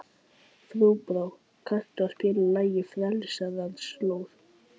Þorbrá, kanntu að spila lagið „Frelsarans slóð“?